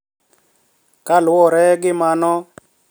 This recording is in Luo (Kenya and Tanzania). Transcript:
Ka luwore gi mano,